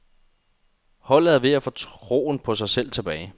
Holdet er ved at få troen på sig selv tilbage.